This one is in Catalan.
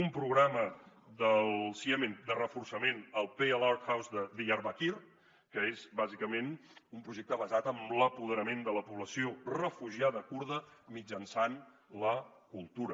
un programa del ciemen de reforçament al pale art house de diyabarkir que és bàsicament un projecte basat en l’apoderament de la població refugiada kurda mitjançant la cultura